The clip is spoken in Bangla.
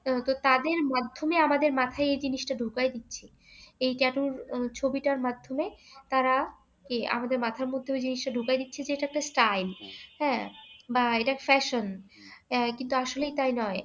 কিন্তু তাদের মাধ্যমে আমাদের মাথায় এ জিনিসটা ঢুকাই দিচ্ছে। এই tattoo ছবিটার মাধ্যমে তারা কি আমাদের মাথার মধ্যে ওই জিনিসটা ঢুকাই দিচ্ছে যে এটা একটা style । হ্যাঁ বা এটা fashion । কিন্তু এটা আসলেই তাই নয়,